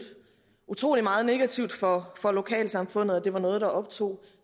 utrolig meget negativt for for lokalsamfundet og det var noget der optog